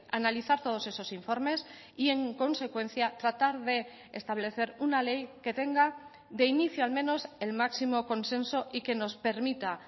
analizar todos esos informes y en consecuencia tratar de establecer una ley que tenga de inicio al menos el máximo consenso y que nos permita